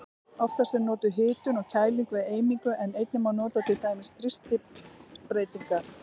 Oftast er notuð hitun og kæling við eimingu en einnig má nota til dæmis þrýstingsbreytingar.